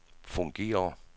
fungerer